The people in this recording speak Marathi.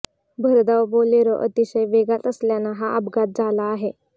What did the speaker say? भरधाव बोलेरो अतिशय वेगात असल्यानं हा अपघात झाला आहे